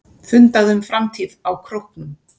Fundað um framtíð á Króknum